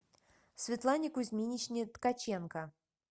светлане кузьминичне ткаченко